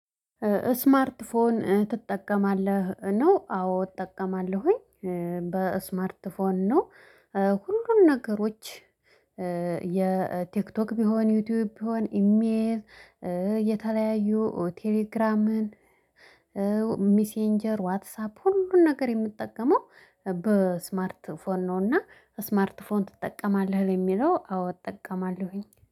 ስማርት ፎን ትጠቀማለህ ነው? አዎ እጠቀማለሁኝ። በስማርት ፎን ነው። ሁሉንም ነገሮች። የቲክቶክ ቢሆን ዩቲዩብ ቢሆን ኢሜል የተለያዩ ቴሌግራምን። ሚሴንጀር ዋትሳፕ ሁሉን ነገር የምትጠቀመው በስማርት ፎን ነውና። ስማርት ፎን ትጠቀማለህ? ለሚለው አዎ እጠቀማለሁኝ